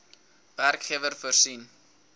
werkgewer voorsien